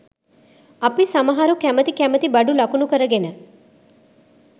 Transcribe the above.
අපි සමහරු කැමති කැමති බඩු ලකුණු කරගෙන